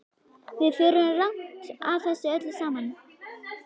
Við förum rangt að þessu öllu saman.